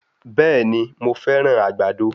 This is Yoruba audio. Bẹ̀ẹ̀ni, mo fẹ́ràn àgbàdo.